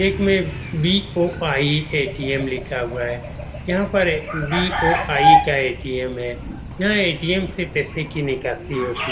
एक में BOI. ATM. लिखा हुआ है यहाँ पर ए बी.ओ.आई. का ए.टी.एम. है यह ए.टी.एम. से पैसे की निकासी होती --